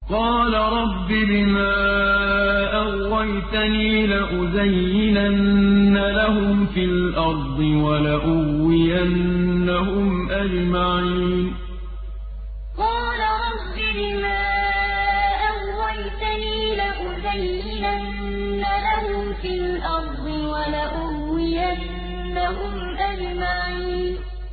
قَالَ رَبِّ بِمَا أَغْوَيْتَنِي لَأُزَيِّنَنَّ لَهُمْ فِي الْأَرْضِ وَلَأُغْوِيَنَّهُمْ أَجْمَعِينَ قَالَ رَبِّ بِمَا أَغْوَيْتَنِي لَأُزَيِّنَنَّ لَهُمْ فِي الْأَرْضِ وَلَأُغْوِيَنَّهُمْ أَجْمَعِينَ